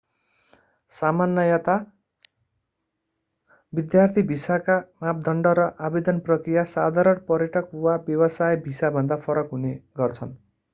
सामान्यतया विद्यार्थी भिसाका मापदण्ड र आवेदन प्रक्रिया साधारण पर्यटक वा व्यवसाय भिसाभन्दा फरक हुने गर्छन्